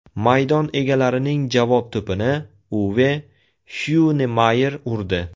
Maydon egalarining javob to‘pini Uve Hyunemayer urdi.